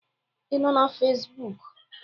Ị nọ na Fezbụk?